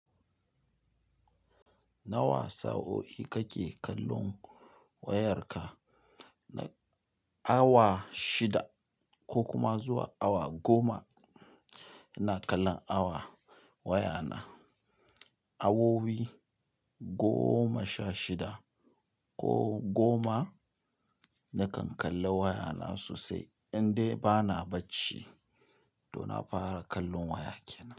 Nawa sa'o'i kake kallon wayarka? Awa shida ko kuma zuwa awa goma. Ina kallon awa waya na. Awowi goma sha shida ko goma. Na kan kalla wayana sosai indai bana bacci to na fara kallon waya kenan.